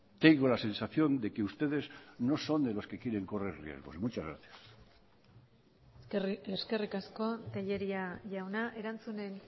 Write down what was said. tengo la sensación de que ustedes no son de los que quieren correr riesgos muchas gracias eskerrik asko tellería jauna erantzunen